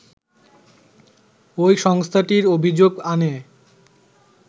ওই সংস্থাটির অভিযোগ আনে